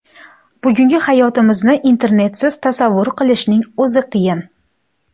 Bugungi hayotimizni Internetsiz tasavvur qilishning o‘zi qiyin.